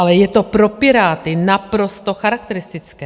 Ale je to pro Piráty naprosto charakteristické.